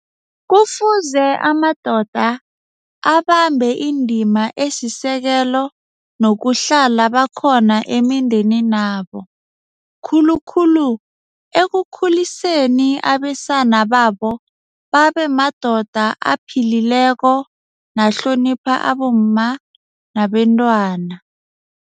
Kufuze amadoda abambe indima esisekelo nokuhlala bakhona emindeninabo, khulukhulu ekukhuliseni abesana babo babe madoda aphilileko nahlonipha abomma nabentwana.